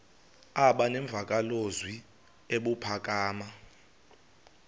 aba nemvakalozwi ebuphakama